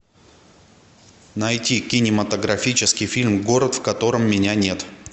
найти кинематографический фильм город в котором меня нет